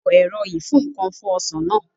Lo ẹ̀rọ ìfúǹkan fún Ọsàn náà